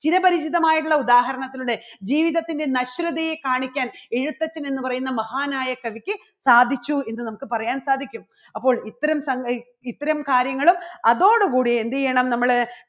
ചിരപരിചിതമായിട്ടുള്ള ഉദാഹരണത്തിലൂടെ ജീവിതത്തിൻറെ നശ്വരതയെ കാണിക്കാൻ എഴുത്തച്ഛൻ എന്ന് പറയുന്ന മഹാനായ കവിക്ക് സാധിച്ചു എന്ന് നമുക്ക് പറയാൻ സാധിക്കും. അപ്പോൾ ഇത്തരം ഇത്തരം കാര്യങ്ങളും അതോടുകൂടി എന്ത് ചെയ്യണം നമ്മള്